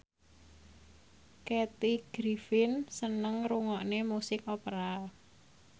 Kathy Griffin seneng ngrungokne musik opera